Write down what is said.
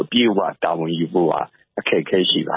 အပြည့်အဝ တာဝန်ယူဖို့ အခက်အခဲရှိတယ